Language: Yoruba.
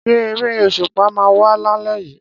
Ṣé eré òṣùpá máa wà lálé yìí?